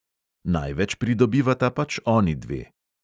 Največ pridobivata pač onidve.